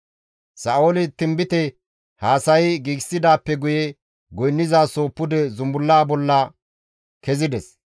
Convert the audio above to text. Sa7ooli tinbite haasayi giigidaappe guye goynnizasoho pude zumbullaa bolla kezides.